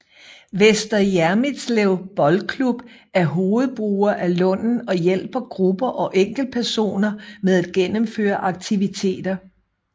Vester Hjermitslev Boldklub er hovedbruger af Lunden og hjælper grupper og enkeltpersoner med at gennemføre aktiviteter